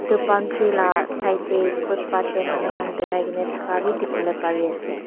etu palm tree laga side dae footpath dae manu khan parikina taka bi dikibolae pari asae.